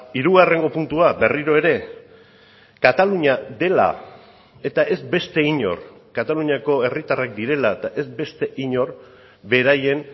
hirugarrengo puntua berriro ere katalunia dela eta ez beste inor kataluniako herritarrak direla eta ez beste inor beraien